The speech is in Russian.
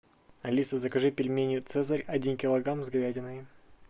алиса закажи пельмени цезарь один килограмм с говядиной